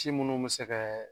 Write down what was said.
Si minnu bɛ se ka